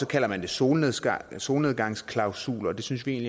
kalder man det solnedgangsklausul solnedgangsklausul og det synes vi